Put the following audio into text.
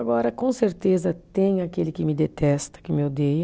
Agora, com certeza, tem aquele que me detesta, que me odeia.